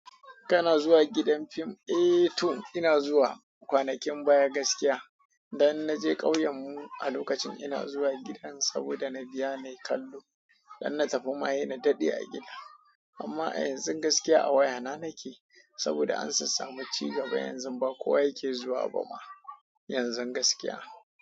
Kana zuwa gidan fim? Eh tun ina zuwa kwanakin baya gaskiya, dan na je ƙauyen mu a lokacin ina zuwa gidan saboda na biya nai kallo Dan na tafi ma he na daɗe a gida, amma a yanzun gaskiya a wayana nake saboda an sassamu cigiba yanzu ba kowa yake zuwa bama yanzun gaskiya.